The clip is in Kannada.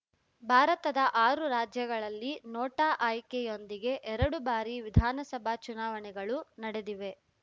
ಭಾರತದ ಆರು ರಾಜ್ಯಗಲ್ಲಿ ನೋಟಾ ಆಯ್ಕೆಯೊಂದಿಗೆ ಎರಡು ಬಾರಿ ವಿಧಾನಸಭಾ ಚುನಾವಣೆಗಳು ನಡೆದಿವೆ